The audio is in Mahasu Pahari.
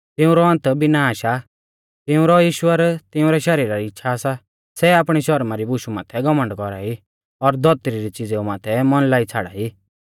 तिऊंरौ अन्त विनाश आ तिउंरौ ईश्वर तिउंरै शरीरा री इच़्छ़ा सा सै आपणी शरमा री बुशु माथै घमण्ड कौरा ई और धौतरी री च़िज़ेऊ माथै मन लाई छ़ाड़ाई